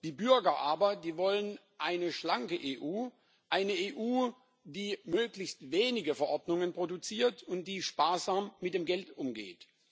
Die Bürger aber, die wollen eine schlanke EU, eine EU, die möglichst wenige Verordnungen produziert und die sparsam mit dem Geld umgeht.